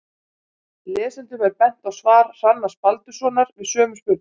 Lesendum er bent á svar Hrannars Baldurssonar við sömu spurningu.